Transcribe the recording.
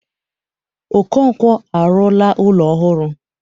Okonkwo arụla ụlọ ọhụrụ.